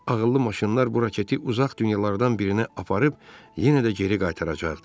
Ağıllı maşınlar bu raketi uzaq dünyalardan birinə aparıb, yenə də geri qaytaracaqdı.